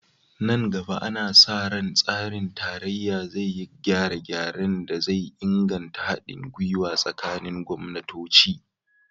Nan gaba, ana sa ran tsarin tarayya zai yi gyare-gyaren da zai inganta hadin gwiwa tsakanin gwamnatoci